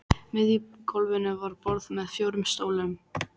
miðju gólfinu var borð með fjórum stólum.